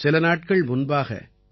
சில நாட்கள் முன்பாக உ